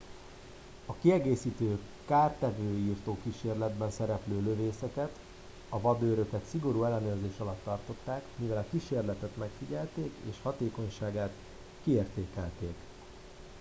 a kiegészítő kártevőírtó kísérletben szereplő lövészeket a vadőröket szigorú ellenőrzés alatt tartották mivel a kísérletet megfigyelték és hatékonyságát kiértékelték